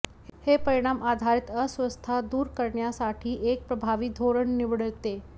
हे परिणाम आधारित अस्वस्थता दूर करण्यासाठी एक प्रभावी धोरण निवडते